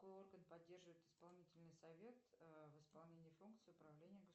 какой орган поддерживает исполнительный совет в исполнении функции управления